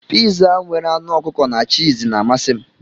Piza nwere anụ ọkụkọ na chììz na-amasị m.